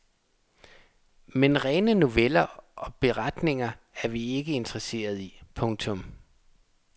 Men rene noveller og beretninger er vi ikke interesseret i. punktum